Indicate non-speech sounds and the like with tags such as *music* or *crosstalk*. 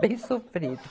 Bem sofrido *laughs*